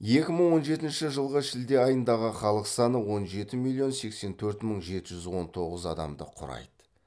екі мың он жетінші жылғы шілде айындағы халық саны он жеті миллион сексен төрт мың жеті жүз он тоғыз адамды құрайды